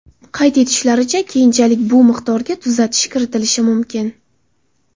Qayd etishlaricha, keyinchalik bu miqdorga tuzatish kiritilishi mumkin.